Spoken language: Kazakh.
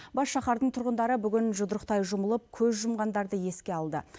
бас шаһардың тұрғындары бүгін жұдырықтай жұмылып көз жұмғандарды еске алды